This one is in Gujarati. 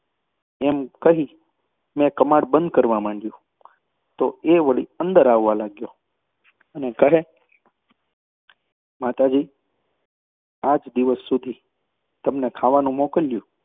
તેમ કહી મેં કમાડ બંધ કરવા માંડયું તો એ વળી અંદર આવવા લાગ્યો અને કહે માતાજી, આજ દિવસ સુધી તમને ખાવાનું મોકલ્યું,